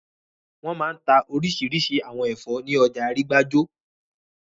Wọ́n máa n ta orísirísi àwọn ẹ̀fọ́ ní ọjà Arígbájó